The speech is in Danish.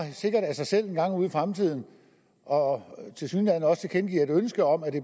af sig selv engang ude i fremtiden og tilsyneladende også tilkendegiver et ønske om at det